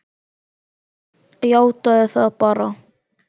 Játaðu það bara!